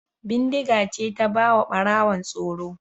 Bindiga ce ta ba wa Ɓarawo tsoro.